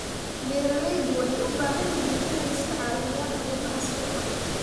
Beeraleydu waxay u baahan yihiin inay iska caawiyaan arrimaha suuqa.